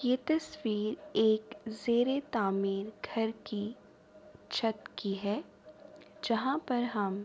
یہ تشویر ایک جھیرے تعمیر گھر کی چھٹ کی ہے۔ جہاں پر ہم--